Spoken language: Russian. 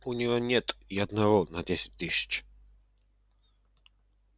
у него нет и одного на десять тысяч